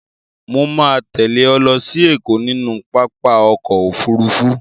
Mo ma tẹ́lẹ̀ ẹ lọ sí Ẹ̀kọ́ nínú pápá ọkọ̀ Òfurufú.